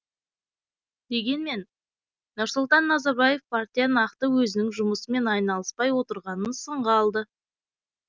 дегенмен нұрсұлтан назарбаев партия нақты өзінің жұмысымен айналыспай отырғанын сынға алды